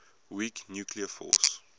weak nuclear force